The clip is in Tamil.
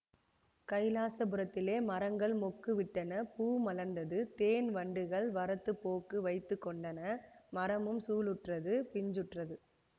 கைலாசபுரத்திலே மரங்கள் மொக்கு விட்டன பூ மலர்ந்தது தேன் வண்டுகள் வரத்துப் போக்கு வைத்து கொண்டன மரமும் சூலுற்றது பிஞ்சுற்றது